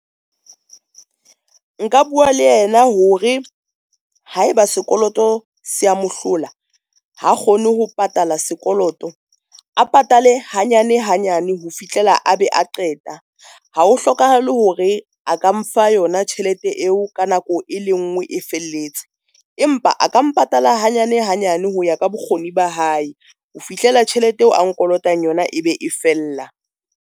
Nka bua le yena hore haeba sekoloto se a mohlola, ha kgone ho patala sekoloto, a patale hanyane hanyane ho fihlela a be a qeta. Ha ho hlokahale hore a ka mfa yona tjhelete eo ka nako e le nngwe e felletse, empa a ka mpatalla hanyane hanyane ho ya ka bokgoni ba hae. Ho fihlela tjhelete eo a nkolotang yona, e be e fella.